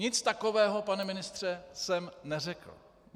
Nic takového, pane ministře, jsem neřekl.